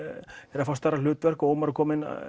er að fá stærra hlutverk Ómar kom